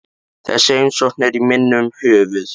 Þessi heimsókn er í minnum höfð.